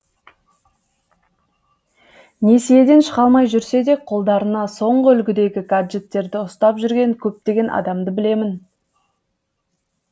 несиеден шыға алмай жүрсе де қолдарына соңғы үлгідегі гаджеттерді ұстап жүрген көптеген адамды білемін